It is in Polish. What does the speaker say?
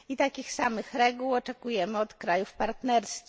Takich samych reguł oczekujemy od krajów partnerskich.